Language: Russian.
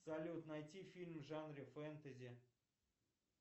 салют найти фильм в жанре фэнтези